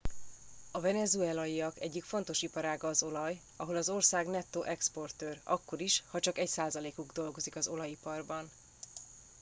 a venezuelaiak egyik fontos iparága az olaj ahol az ország nettó exportőr akkor is ha csak egy százalékuk dolgozik az olajiparban